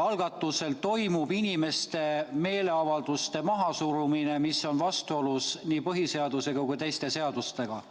algatusel toimub inimeste meeleavalduste mahasurumine, mis on vastuolus nii põhiseadusega kui teiste seadustega.